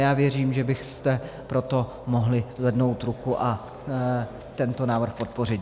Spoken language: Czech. Já věřím, že byste proto mohli zvednout ruku a tento návrh podpořit.